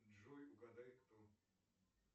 джой угадай кто